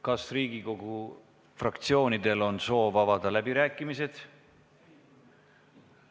Kas Riigikogu fraktsioonidel on soov avada läbirääkimised?